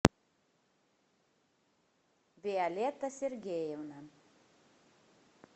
виолетта сергеевна